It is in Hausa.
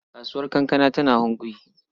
Kasuwar kankana tana Hunkuyi.